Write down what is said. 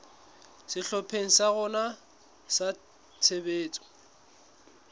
sehlopheng sa rona sa tshebetso